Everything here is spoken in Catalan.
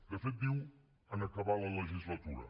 de fet diu en acabar la legislatura